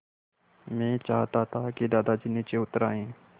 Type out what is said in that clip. मैं चाहता था कि दादाजी नीचे उतर आएँ